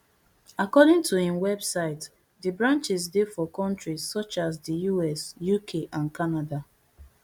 according to imwebsite di branches dey for kontris such as di us uk and canada